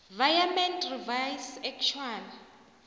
virement revised actual